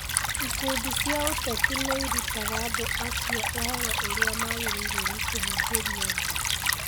Ikundi cia ũteti nĩ irutaga andũ a cio ũhoro ũrĩa magĩrĩirũo nĩ kũhunjĩria andũ